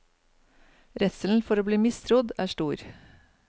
Redselen for å bli mistrodd er stor.